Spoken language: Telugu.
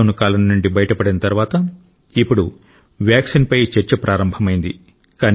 లాక్ డౌన్ కాలం నుండి బయటపడిన తర్వాత ఇప్పుడు వ్యాక్సిన్ పై చర్చ ప్రారంభమైంది